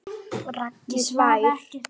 Raggi hlær.